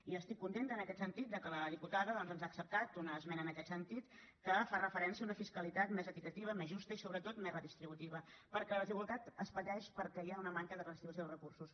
i estic contenta en aquest sentit que la diputada doncs ens hagi acceptat una esmena en aquest sentit que fa referència a una fiscalitat més equitativa més justa i sobretot més redistributiva perquè la desigualtat es pateix perquè hi ha una manca de redistribució dels recursos